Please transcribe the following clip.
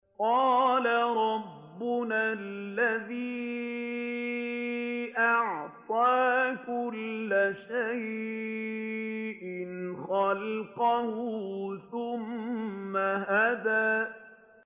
قَالَ رَبُّنَا الَّذِي أَعْطَىٰ كُلَّ شَيْءٍ خَلْقَهُ ثُمَّ هَدَىٰ